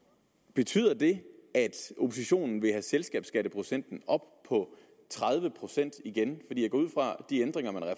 betyder det at oppositionen vil have selskabsskatteprocenten op på tredive procent igen